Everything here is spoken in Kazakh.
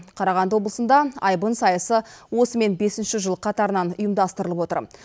қарағанды облысында айбын сайысы осымен бесінші жыл қатарынан ұйымдастырылып отыр